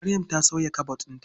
Maryam sauya kabod ɗinta.